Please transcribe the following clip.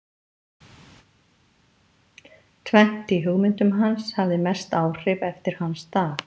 Tvennt í hugmyndum hans hafði mest áhrif eftir hans dag.